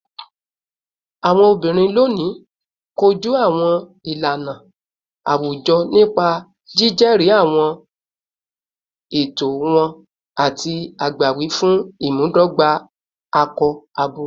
Awọn obinrin loni koju awọn ilana awujọ nipa jijẹri awọn ẹtọ wọn ati agbawi fun imudogba akọ-abo